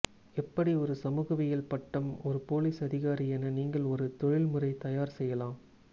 எப்படி ஒரு சமூகவியல் பட்டம் ஒரு பொலிஸ் அதிகாரி என நீங்கள் ஒரு தொழில்முறை தயார் செய்யலாம்